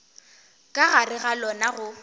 ka gare ga lona go